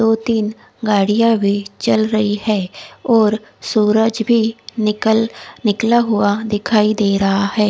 दो तिन गाड़िया भी चल रही है और सूरज भी निकल निकला हुआ दिखाई दे रहा है।